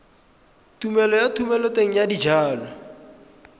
tumelelo ya thomeloteng ya dijalo